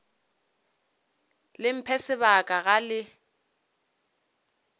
le mphe sebaka ga le